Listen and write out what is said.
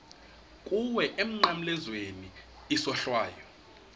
kuwe emnqamlezweni isohlwayo